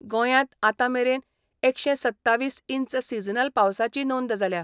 गोंयात आतांमेरेन एकशे सत्तावीस इंच सिझनल पावसाची नोंद जाल्या.